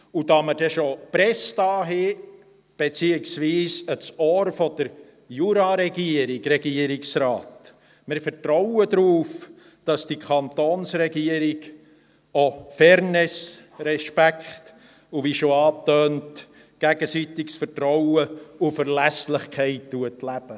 Da wir schon die Presse hier haben, beziehungsweise das Ohr der Jura-Regierung und des Regierungsrates: Wir vertrauen darauf, dass die Kantonsregierung auch Fairness, Respekt und – wie schon angetönt – gegenseitiges Vertrauen und Verlässlichkeit lebt.